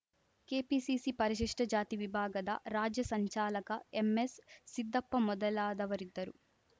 KPCC ಪರಿಶಿಷ್ಟಜಾತಿ ವಿಭಾಗದ ರಾಜ್ಯ ಸಂಚಾಲಕ ಎಂ ಎಸ್‌ ಸಿದ್ದಪ್ಪ ಮೊದಲಾದವರಿದ್ದರು